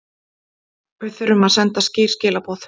Við þurfum að senda skýr skilaboð